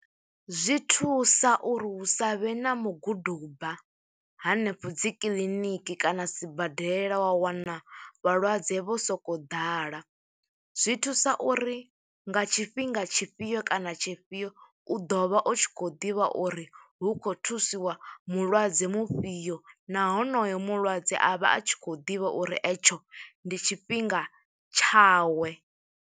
Zwi thusa uri hu savhe na muguduba hanefho dzi kiḽiniki kana sibadela, wa wana vhalwadze vho sokou ḓala. Zwi thusa uri nga tshifhinga tshifhio kana tshiifhio, u ḓo vha u tshi khou ḓivha uri, hu khou thusiwa mulwadze mufhio, na honoyo mulwadze a vha a tshi khou ḓivha uri e tsho ndi tshifhinga tshawe.